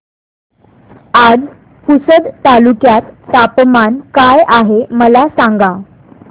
आज पुसद तालुक्यात तापमान काय आहे मला सांगा